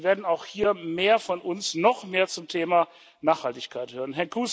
Sie werden auch hier von uns noch mehr zum Thema Nachhaltigkeit hören.